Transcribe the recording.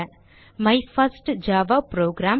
my first Java program